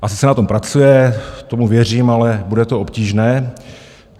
Asi se na tom pracuje, tomu věřím, ale bude to obtížné.